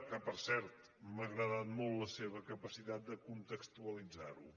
que per cert m’ha agradat molt la seva capacitat de contextua·litzar·ho